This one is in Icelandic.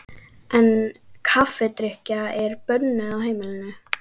En kaffidrykkja er bönnuð á heimilinu.